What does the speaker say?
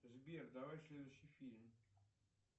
сбер давай следующий фильм